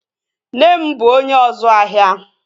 Nne m bụ onye ọzu ahia